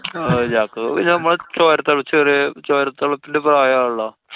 ഞങ്ങക്കു ഞമ്മളെ ചോര തെളചൊരു~ ചോര തെളപ്പിന്‍റെ പ്രായാണല്ലോ.